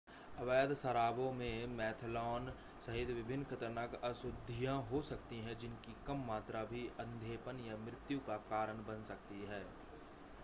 अवैध शराबों में मेथनॉल सहित विभिन्न ख़तरनाक अशुद्धियां हो सकती हैं जिनकी कम मात्रा भी अंधेपन या मृत्यु का कारण बन सकती हैं